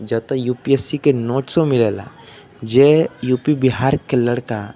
ज त यू_पी_एस_सी के नोट्सो मिलेला। जे यूपी बिहार के लड़का --